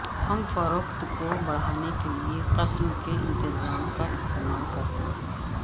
ہم فروخت کو بڑھانے کے لئے قسم کے انتظام کا استعمال